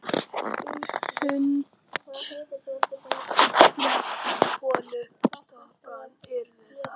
Hrund: Hvers konar skotvopn yrðu það?